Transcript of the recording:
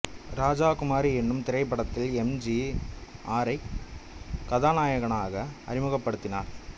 ராஜகுமாரி என்னும் திரைப்படத்தில் M G ஆரைக் கதாநாயகனாக அறிமுகப்படுத்தினார்